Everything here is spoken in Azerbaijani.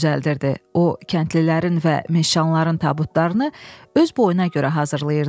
O kəndlilərin və meşşanların tabutlarını öz boyuna görə hazırlayırdı.